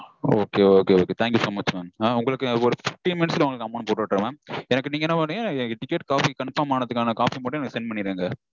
Okay okay okay. thank you so much mam. ஒரு fifteen minutes -ல உங்களுக்கு amount போட்டு விட்டுடறேன் mam. எனக்கு நீங்க என்ன பண்றீங்க எனக்கு ticket copy confirm ஆனதுக்கான copy மட்டும் எனக்கு send பண்ணிருங்க